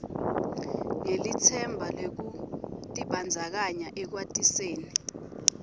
ngelitsemba lwekutibandzakanya ekwatiseni